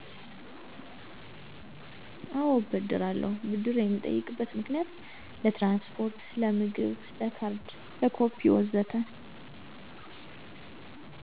አዎ እበደራለሁ፣ ብድር የምጠይቅበት ምክንያትም ለትራንስፖርት፣ ለምግብ፣ ለካርድ፣ ለኮፒ ወዘተ